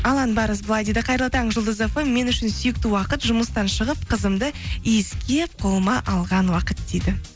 алан барыс былай дейді қайырлы таң жұлдыз фм мен үшін сүйікті уақыт жұмыстан шығып қызымды иіскеп қолыма алған уақыт дейді